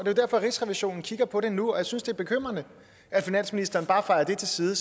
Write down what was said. er derfor rigsrevisionen kigger på det nu og jeg synes det er bekymrende at finansministeren bare fejer det til side